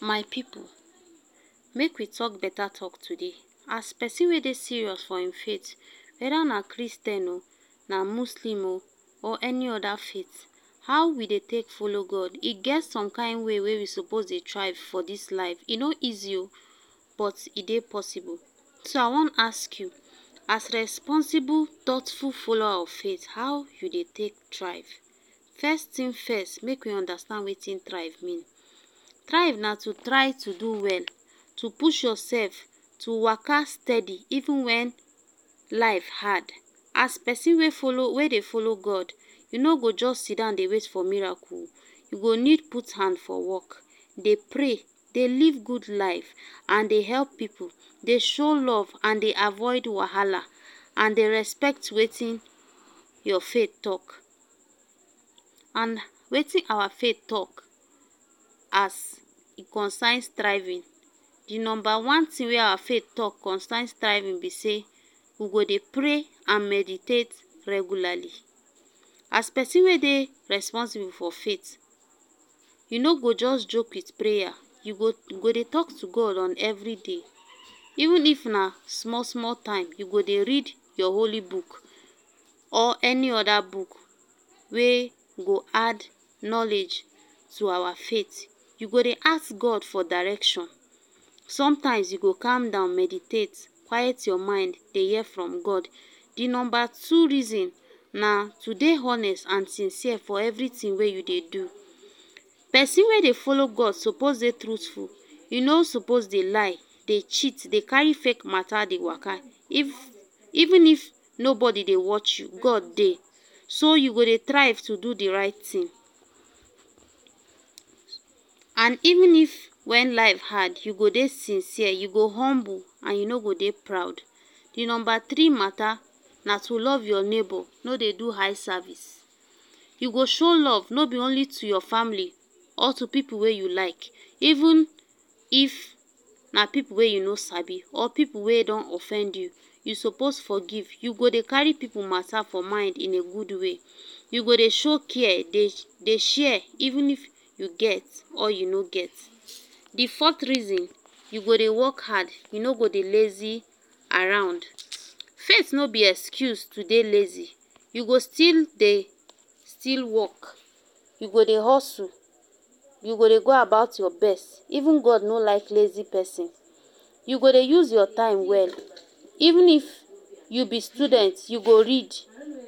My pipo, make we talk better talk today as person wey dey serious for im faith, weda na Christian [um]na Muslim um or any oda faith, how we dey take follow God, e get some kind way were we suppose dey thrive for this life e no easy um but e dey possible So I wan ask you, as responsible, thoughtful follower of faith how you dey take thrive First thing first make we understand wetin thrive mean. Thrive na to try to do well to push yourself, to waka steady even when life hard As person wey follow wey dey follow God you not go just sidon dey wait for miracle You go need put hand for work dey pray, dey live good life and dey help people dey show love and dey avoid wahala and dey respect wetin your faith talk and wetin our faith talk as e concern striving, di number one thing wey our faith talk concern striving be say we go dey pray and meditate regularly as pesin wey dey responsible for faith you no go just joke with prayer, you go go dey talk to God on every day even if na small, small time, you go dey read your holy book or any other book wey go add knowledge to our faith you go de ask God for direction sometimes you go calm down meditate quiet your mind dey hear from God di number two reason na to dey honest and sincere for everything way you dey do Pesin wey dey follow God suppose dey truthful, e no suppose dey lie, dey cheat, dey carry fake mata dey waka if even if nobody dey watch you God dey so you go dey thrive to do the right thing and even if when life hard you go dey sincere, you go humble and you no go dey proud. The number three mata na to love your neighbor no dey do eye service You go show love no be only to your family or to people wey you like even if na people wey you no sabi or people wey don offend you You suppose forgive. You go dey carry people matter for mind in a good way you go dey show care, dey dey share even if you get or you no get. di fourth reason, you go dey work hard you no go dey lazy around first no be excuse to dey lazy you go still dey still work you go dey hustle you go dey go about your best even God no like lazy person you go dey use your time well even if you be student you go read